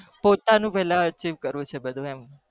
પોતાનું પેલા archive કરવું છે એમ